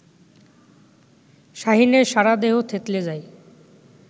শাহীনের সারাদেহ থেতলে যায়